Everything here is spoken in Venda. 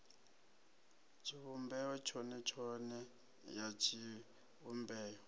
tshivhumbeo tshone tshone ya tshivhumbeo